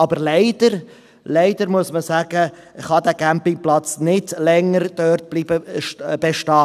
Aber leider, leider muss man sagen, dass dieser Campingplatz dort nicht länger bestehen bleiben kann.